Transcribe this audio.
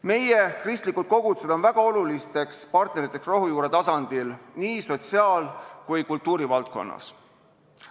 Meie kristlikud kogudused on väga olulisteks partneriteks rohujuure tasandil nii sotsiaal- kui ka kultuurivaldkonnas.